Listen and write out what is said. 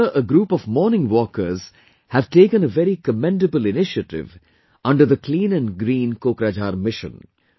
Here a group of morning walkers have taken a very commendable initiative under the 'Clean and Green Kokrajhar' mission